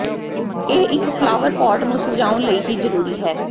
ਇਹ ਇੱਕ ਫਲਾਵਰਪਾੱਟ ਨੂੰ ਸਜਾਉਣ ਲਈ ਹੀ ਜ਼ਰੂਰੀ ਹੈ